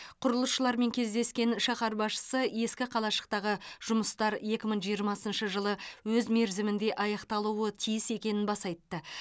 құрылысшылармен кездескен шаһар басшысы ескі қалашықтағы жұмыстар екі мың жиырмасыншы жылы өз мерзімінде аяқталуы тиіс екенін баса айтты